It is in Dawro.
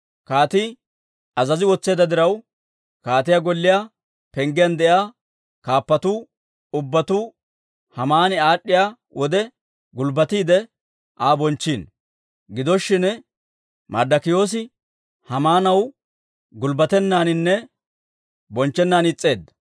Kaatii azazi wotseedda diraw, kaatiyaa golliyaa penggiyaan de'iyaa kaappatuu ubbatuu Haamani aad'd'iyaa wode, gulbbatiide Aa bonchchiino. Gido shin, Marddokiyoosi Haamaanaw gulbbatennaaninne bonchchennaan is's'eedda.